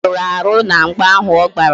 O meruru ahụ na mgba ahụ ọ gbara